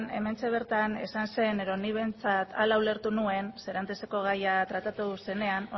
hementxe bertan esan zen edo nik behintzat ala ulertu nuen seranteseko gaia tratatu zenean